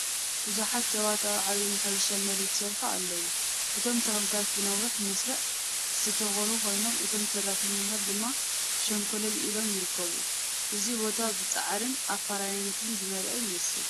ብዙሓት ሰባት ኣብ ዓቢ ናይ ሕርሻ መሬት ይሰርሑ ኣለዉ። እቶም ተኽልታት ብነዊሕ መስርዕ ዝተተኽሉ ኮይኖም እቶም ሰራሕተኛታት ድማ ሸንኮለል ኢሎም ይርከቡ። እዚ ቦታ ብጻዕርን ኣፍራይነትን ዝመልአ ይመስል።